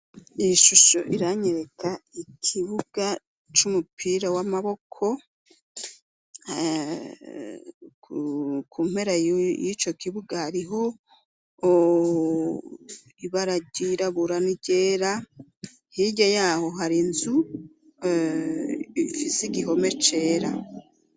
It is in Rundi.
Iyi shusho iranyereka ikibuga c'umupira w'amaboko, ku mpera y'ico kibuga hariho ibara ryirabura n'iryera, hirya y'aho hari inzu ifise igihome cera.